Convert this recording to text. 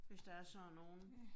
Hvis der er sådan nogle